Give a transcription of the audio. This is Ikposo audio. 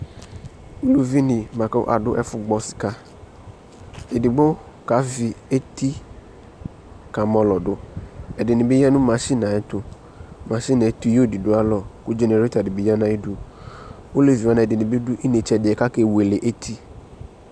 Ulivine boa ko ado ɛfo gbɔ sikaEdigbo kave eti ka mɔlɔ do Ɛedene be ya no machine ɛɛ ayɛtoMaschine ɛɛ tuyo de do ayalɔ ko dzenereta de ne ya no ayedu Olevi wa ne adɛ be do inetse adeɛ ka ke wele eti